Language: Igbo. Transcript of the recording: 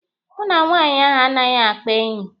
Mụ na nwaanyị ahụ anaghị akpa enyi.